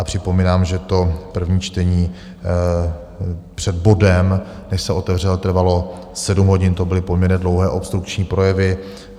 A připomínám, že to první čtení před bodem, než se otevřel, trvalo 7 hodin, to byly poměrně dlouhé obstrukční projevy.